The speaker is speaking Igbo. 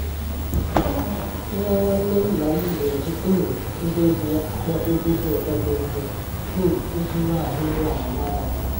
Nwa nwanne nna m na-eji um ngwa egwu ya akpọ egwu ụtọ dị mfe um iji nwee ahụ iru ala n'abalị